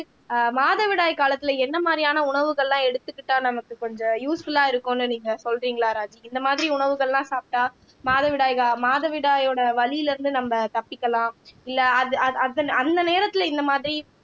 ஆஹ் மாதவிடாய் காலத்துல என்ன மாதிரியான உணவுகள் எல்லாம் எடுத்துக்கிட்டா நமக்கு கொஞ்சம் யூஸ்புல்லா இருக்கும்னு நீங்க சொல்றீங்களா ராஜி இந்த மாதிரி உணவுகள்லாம் சாப்பிட்டால் மாதவிடாய் கா மாதவிடாயோட வலியில இருந்து நம்ம தப்பிக்கலாம் இல்லை அந்த நேரத்துல இந்த மாதிரி